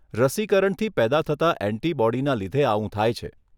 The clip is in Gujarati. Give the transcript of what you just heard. રસિકરણથી પેદા થતા ઍન્ટિબોડીના લીધે આવું થાય છે.